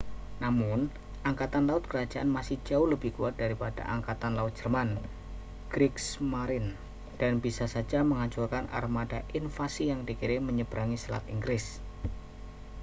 "namun angkatan laut kerajaan masih jauh lebih kuat daripada angkatan laut jerman kriegsmarine dan bisa saja menghancurkan armada invasi yang dikirim menyebrangi selat inggris.